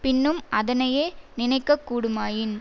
பின்னும் அதனையே நினைக்க கூடுமாயின்